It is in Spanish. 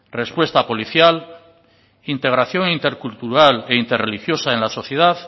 respuesta policial integración intercultural e interreligiosa en la sociedad